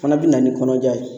Fana bɛ na ni kɔnɔja ye